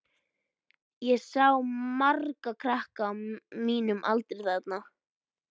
Ég sá marga krakka á mínum aldri þarna.